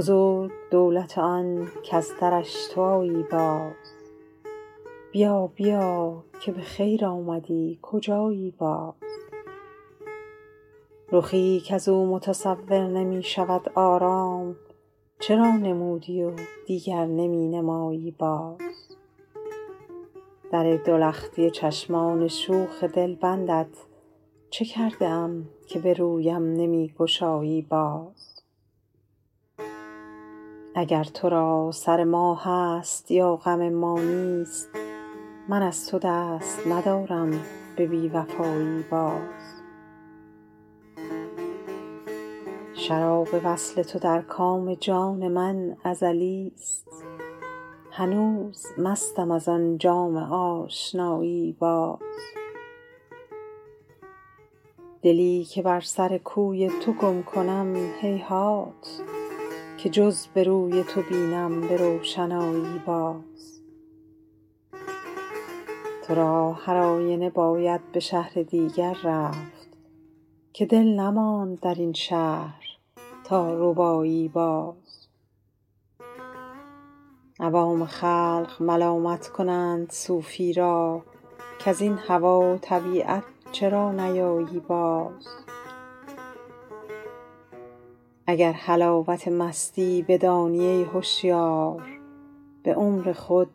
بزرگ دولت آن کز درش تو آیی باز بیا بیا که به خیر آمدی کجایی باز رخی کز او متصور نمی شود آرام چرا نمودی و دیگر نمی نمایی باز در دو لختی چشمان شوخ دلبندت چه کرده ام که به رویم نمی گشایی باز اگر تو را سر ما هست یا غم ما نیست من از تو دست ندارم به بی وفایی باز شراب وصل تو در کام جان من ازلیست هنوز مستم از آن جام آشنایی باز دلی که بر سر کوی تو گم کنم هیهات که جز به روی تو بینم به روشنایی باز تو را هر آینه باید به شهر دیگر رفت که دل نماند در این شهر تا ربایی باز عوام خلق ملامت کنند صوفی را کز این هوا و طبیعت چرا نیایی باز اگر حلاوت مستی بدانی ای هشیار به عمر خود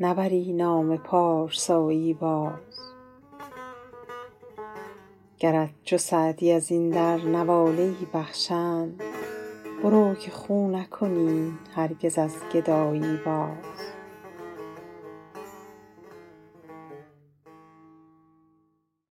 نبری نام پارسایی باز گرت چو سعدی از این در نواله ای بخشند برو که خو نکنی هرگز از گدایی باز